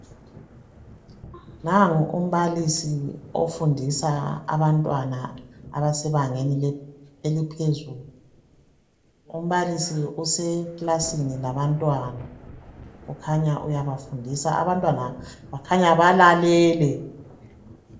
Nangu umbalisi ofundisa abantwana abasebangeni eliphezulu. Umbalisi useklasini labantwana, uyabafundisa, Abantwana bakhanya, balalele!